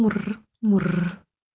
мур мур